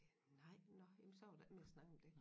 Nej nå men så var der ikke mere at snakke om det